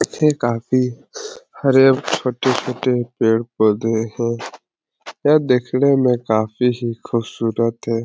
यह काफी हरे छोटे - छोटे पेड़ पौधे हैं। यह देखने में काफी ही खूबसूरत है।